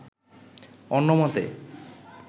অন্য মতে